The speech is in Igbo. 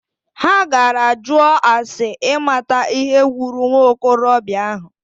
Ha gara jụọ ase imata ihe gburu nwokorobịa ahụ.